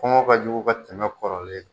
Kɔngɔ ka jugu ka tɛmɛ kɔrɔlen kan.